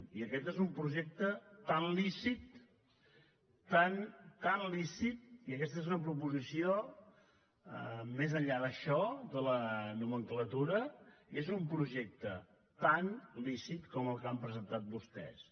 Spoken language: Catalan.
i aquest és un projecte tan lícit tan lícit i aquesta és una proposició més enllà d’això de la nomenclatura és un projecte tan lícit com el que han presentat vostès